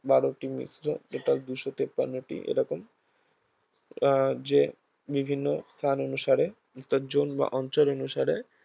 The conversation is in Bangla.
বারটি মিশ্র total দুইশ তিপ্পান্নটি এরকম আহ যে বিভিন্ন স্থান অনুসারে তাজন বা অঞ্চল অনুসারে